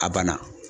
A banna